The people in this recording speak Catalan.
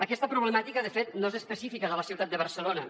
aquesta problemàtica de fet no és especifica de la ciutat de barcelona